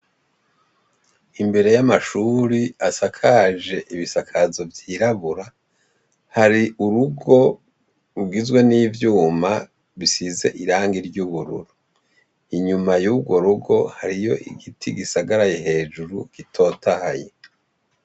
Imbere y' amashur' asakaj' ibisakazo vyirabura, har' urugo rugizwe n'ivyuma bisiz'irangi ry' ubururu, inyuma yugo rugo hariy' igiti gisagaraye hejuru gitotahaye.